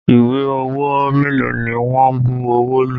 Ìwé owó mélòó ni wọn bu ọwọ́ lù?